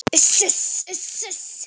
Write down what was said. Uss, uss.